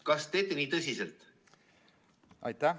Kas te teete seda nii tõsiselt?